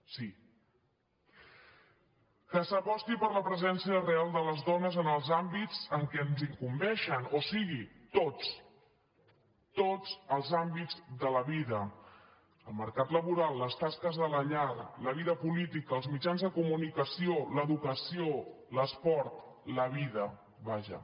que s’aposti per la presència real de les dones en els àmbits en què ens incumbeixen o sigui tots tots els àmbits de la vida el mercat laboral les tasques de la llar la vida política els mitjans de co·municació l’educació l’esport la vida vaja